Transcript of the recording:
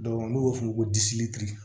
n'u b'a f'o ma ko